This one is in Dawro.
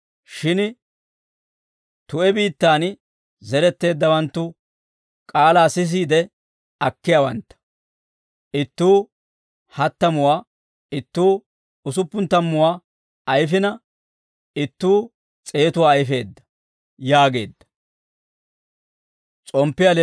Shin tu'e biittaan zeretteeddawanttu k'aalaa sisiide akkiyaawantta; ittuu hattamuwaa, ittuu usuppun tammuwaa ayfina, ittuu s'eetuwaa ayfeedda» yaageedda.